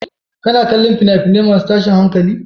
Kana kallon fina-finai masu tashin hankali?